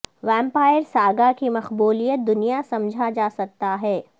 vampire saga کی مقبولیت دنیا سمجھا جا سکتا ہے